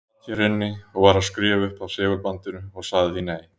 Ég sat hér inni og var að skrifa upp af segulbandinu og sagði því nei.